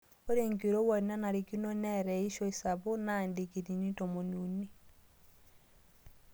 Ore enkirowuaj nanarikino neata eishioi sapuk naa ndikiriini tomoni uni.